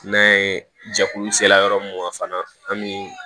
N'an ye jɛkulu sela yɔrɔ mun na fana an mi